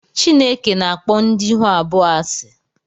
Chineke na-akpọ ndị ihu abụọ asị